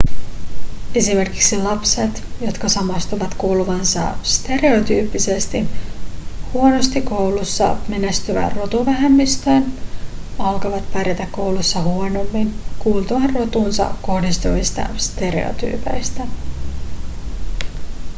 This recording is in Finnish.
esimerkiksi lapset jotka samastuvat kuuluvansa stereotyyppisesti huonosti koulussa menestyvään rotuvähemmistöön alkavat pärjätä koulussa huonommin kuultuaan rotuunsa kohdistuvista stereotyypeistä